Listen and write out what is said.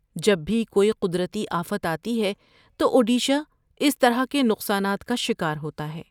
جب بھی کوئی قدرتی آفت آتی ہے تو اوڈیشہ اس طرح کے نقصانات کا شکار ہوتا ہے۔